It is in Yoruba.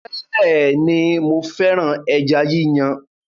Bẹẹni, mo féràn ẹja yíyàn